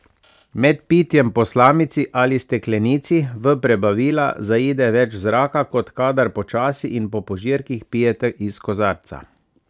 Med pitjem po slamici ali steklenici v prebavila zaide več zraka, kot kadar počasi in po požirkih pijete iz kozarca.